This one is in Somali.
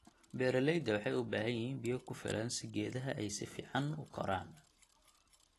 Beeraleyda waxay ubaahan yihiin biyokufilan si geedaha ay si fiican u koraan.